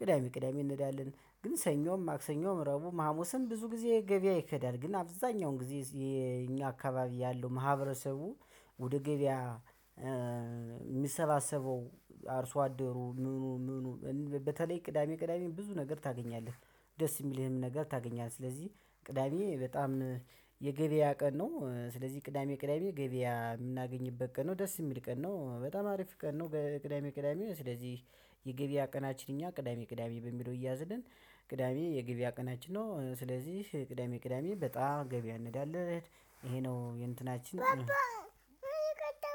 ቅዳሜ ቅዳሜ እንሄዳለን። ግን ሰኞም፣ ማክሰኞም፣ ረብዑም፣ ሀሙስም ብዙ ጊዜ ገበያ ይኬዳል። ግን አብዛኛውን ጊዜ የኛ አካባቢ ያለው ማህበረሰቡ ወደ ገበያ የሚሰባሰበው አርሶ አደሩ ምኑ ምኑ በተለይ ቅዳሜ ቅዳሜ ብዙ ነገር ታገኛለህ። ደስ የሚልህም ነገር ታገኛለህ። ስለዚህ ቅዳሜ በጣም የገበያ ቀን ነው። ስለዚህ ቅዳሜ ቅዳሜ ገበያ የምናገኝበት ቀን ነው። ደስ የሚል ቀን ነው። በጣም አሪፍ ቀን ነው ቅዳሜ ቅዳሜ። ስለዚህ የገበያ ቀናችን እኛ ቅዳሜ ቅዳሜ በሚለው ይያዝልን። ቅዳሜ የገብያ ቀናችን ነው። ስለዚህ ቅዳሜ ቅዳሜ በጣም ገበያ እንሄዳለን። ይሄ ነው የእንትናችን